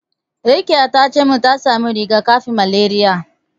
Rakiya tace min ta samo riga-kafin malariya.